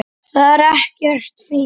Það er ekkert fínt.